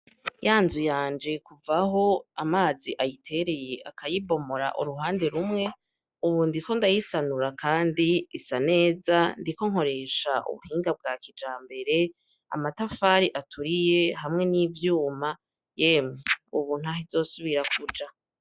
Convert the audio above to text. Ya nzu yanje kuvaho amazi ayitereye akayibomora uruhande rumwe ubu ndi ko ndayisanura, kandi isa neza ndi ko nkoresha ubuhinga bwa kijambere amatafari aturiye hamwe n'ivyuma yemwe, ubu ntaho izosubira kuja.